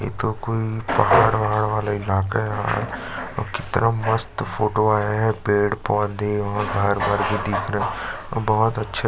ये तो कोई पहाड़ वहाड़ वाला इलाका है यार और कितना मस्त फोटो आया है पेड़-पौधे बहोत हरे-भरे दिख रहै है और बहोत अच्छे--